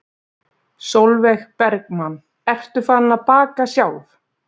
Sólveig Bergmann: Ertu farin að baka sjálf?